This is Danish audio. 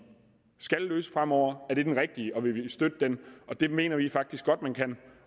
skal løse fremover er den rigtige og vil vi støtte den og det mener vi faktisk godt man kan